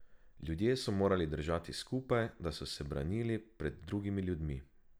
Ljudje so morali držati skupaj, da so se branili pred drugimi ljudmi.